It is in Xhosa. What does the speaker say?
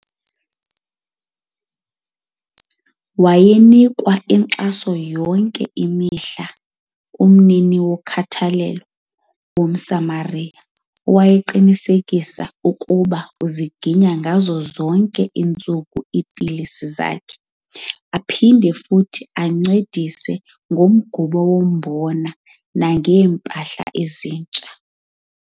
Wayenikwa inkxaso yonke imihla ngumniki wokhathalelo waseMosamaria, owayeqinisekisa ukuba uziginya kuzo zonke iintsuku iipilisi zakhe aphinde futhi ancedise ngomgubo wombona nangeempahla ezintsha .